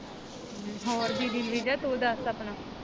ਹੋਰ ਦੀਦੀ ਰਾਵੀਜਾ ਤੂੰ ਦੱਸ ਆਪਣਾ?